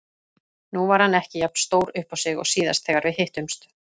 Nú var hann ekki jafn stór uppá sig og síðast þegar við hittumst.